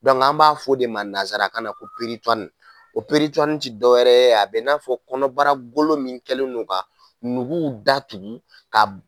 an b'a fɔ de ma nansarakan na ko , o ti dɔ wɛrɛ a bɛ n'a fɔ kɔnɔbara golo min kɛlendo ka nuguw datugu ka b